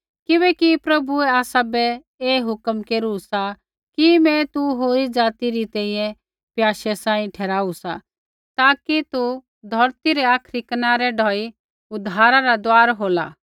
किबैकि प्रभुऐ आसाबै ऐ हुक्म केरू सा कि मैं तू होरी ज़ाति री तैंईंयैं प्याशै सांही ठहराऊ सा ताकि तू धौरती रै आखरी कनारै ढौई उद्धारा रा दुआर होला